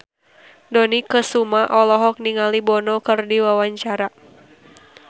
Dony Kesuma olohok ningali Bono keur diwawancara